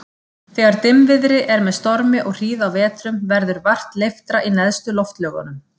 Þegar dimmviðri er með stormi og hríð á vetrum, verður vart leiftra í neðstu loftlögunum.